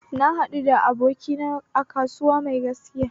Na haɗu da abokin kasuwanci mai gaskiya